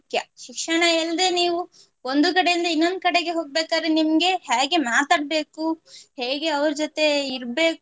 ಶಿಕ್ಷಣ ಇಲ್ದೆ ನೀವು ಒಂದು ಕಡಯಿಂದ ಇನ್ನೊಂದು ಕಡೆಗೆ ಹೋಗ್ಬೇಕಾದ್ರೆ ನಿಮ್ಗೆ ಹೇಗೆ ಮಾತಾಡ್ಬೇಕು ಹೇಗೆ ಅವ್ರು ಜೊತೆ ಇರ್ಬೇಕು